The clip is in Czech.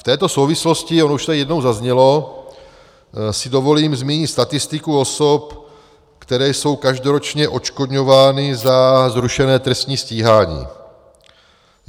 V této souvislosti, už to tady jednou zaznělo, si dovolím zmínit statistiku osob, které jsou každoročně odškodňovány za zrušené trestní stíhání.